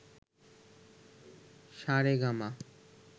সা রে গা মা